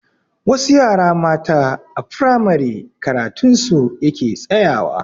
Wasu yara matan a firamare karatun su yake tsayawa.